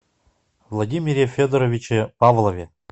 владимире федоровиче павлове